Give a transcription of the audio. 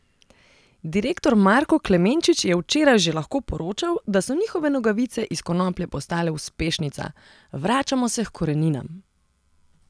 Direktor Marko Klemenčič je včeraj že lahko poročal, da so njihove nogavice iz konoplje postale uspešnica: "Vračamo se h koreninam.